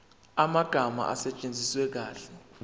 amagama asetshenziswe kahle